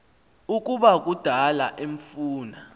ukuba kudala emfuna